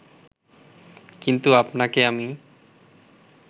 কিন্তু আপনাকে আমি